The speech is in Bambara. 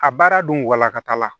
A baara dun walakata la